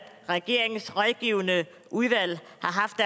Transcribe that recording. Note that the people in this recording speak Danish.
regeringens rådgivende udvalg